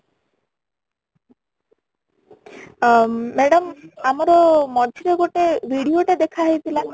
ଅ madam ଆମର ମଝିରେ ଗୋଟେ video ଟେ ଦେଖା ହେଇ ଥିଲା